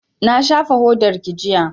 Na shafa hodarki jiya